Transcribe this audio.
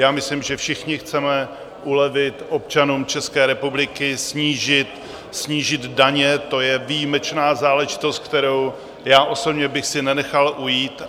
Já myslím, že všichni chceme ulevit občanům České republiky, snížit daně, to je výjimečná záležitost, kterou já osobně bych si nenechal ujít.